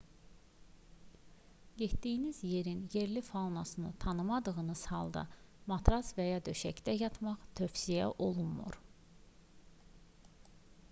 getdiyiniz yerin yerli faunasını tanımadığınız halda matras və ya döşəkdə yatmaq tövsiyə olunmur